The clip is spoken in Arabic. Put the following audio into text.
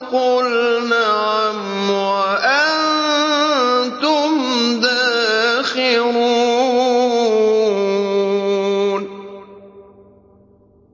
قُلْ نَعَمْ وَأَنتُمْ دَاخِرُونَ